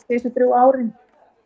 síðustu þrjú árin